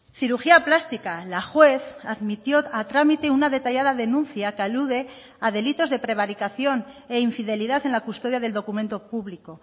cirugía plástica la juez admitió a trámite una detallada denuncia que alude a delitos de prevaricación e infidelidad en la custodia del documento público